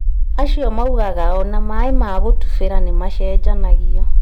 Acio maugaga ona maaĩ ma gũtubĩra nĩmacenjanagio